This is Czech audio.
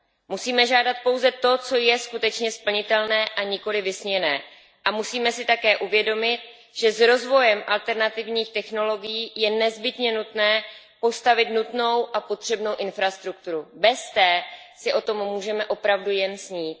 Musíme žádat pouze to, co je skutečně splnitelné, a nikoliv vysněné a musíme si také uvědomit, že s rozvojem alternativních technologií je nezbytně nutné postavit nutnou a potřebnou infrastrukturu. Bez té si o tom můžeme opravdu jen snít.